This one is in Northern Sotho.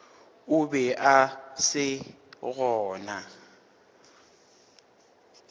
o be a se gona